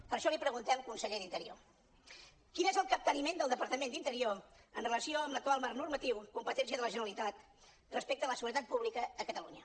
per això li preguntem conseller d’interior quin és el capteniment del departament d’interior amb relació a l’actual marc normatiu competència de la generalitat respecte a la seguretat pública a catalunya